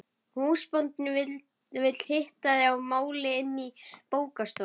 Húsbóndinn vill hitta þig að máli inni í bókastofunni.